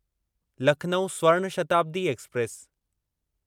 Lucknow Swarna Shatabdi express